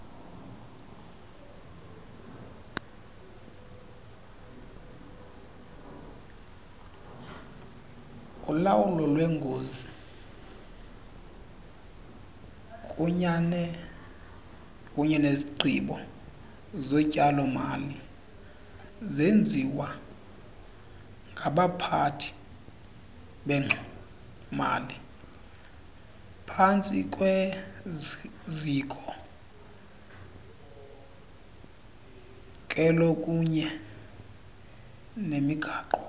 ulawulolwengozikunyenezigqibozotyalo malizenziwangabaphathibengxowa maliphantsikwezikhokelokunyenemigaqo